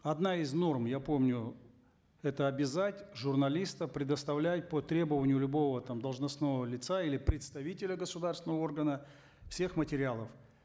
одна из норм я помню это обязать журналиста предоставлять по требованию любого там должностного лица или представителя государственного органа всех материалов